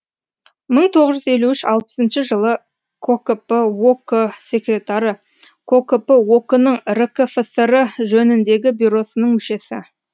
мың тоғыз жүз елу үш алпысыншы жылы кокп ок секретары кокп ок нің ркфср жөніндегі бюросының мүшесі